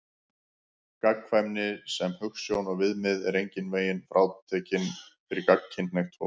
Gagnkvæmni sem hugsjón og viðmið er engan veginn frátekin fyrir gagnkynhneigt fólk.